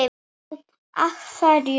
Nú. af hverju?